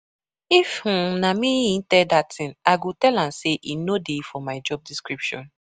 If um na me he tell dat thing I go tell am say e no dey for my job description